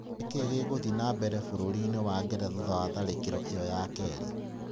Nĩ kĩĩ gĩgũthiĩ na mbere bũrũri-inĩ wa Ngeretha thutha wa tharĩkĩro ĩo ya kerĩ?